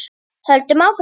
Höldum áfram.